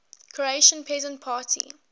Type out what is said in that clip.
croatian peasant party